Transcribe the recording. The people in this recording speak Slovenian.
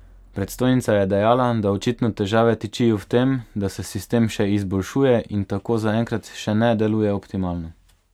Predstojnica je dejala, da očitno težave tičijo v tem, da se sistem še izboljšuje in tako zaenkrat še ne deluje optimalno.